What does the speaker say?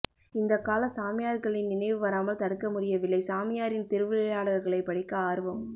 இந்தக் கால சாமியார்களின்நினைவு வராமல் தடுக்க முடியவில்லை சாமியாரின் திருவிளையாடல்களைப் படிக்க ஆர்வம்